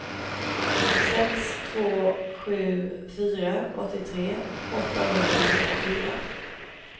sex två sju fyra åttiotre åttahundratrettiofyra